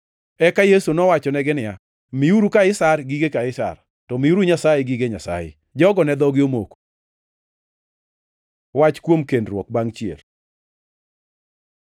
Eka Yesu nowachonegi niya, “Miuru Kaisar gige Kaisar, to miuru Nyasaye gige Nyasaye.” Jogo ne dhogi omoko. Wach kuom kendruok bangʼ chier